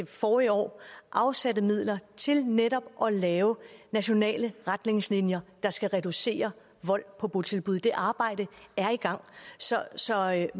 forrige år afsatte midler til netop at lave nationale retningslinjer der skal reducere vold på botilbud det arbejde er i gang så så meget